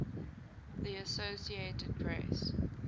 the associated press